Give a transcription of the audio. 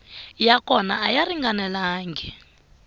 ya kona a ya ringanelangi